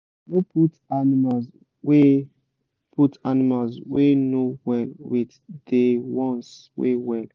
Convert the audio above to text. no put animals wey put animals wey no well with de ones wey well